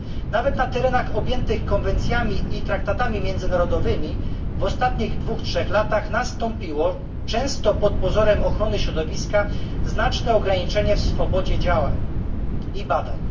Nawet na terenach objętych konwencjami i traktatami międzynarodowymi w ostatnich dwóch, trzech latach nastąpiło, często pod pozorem ochrony środowiska, znaczne ograniczenie w swobodzie działań i badań.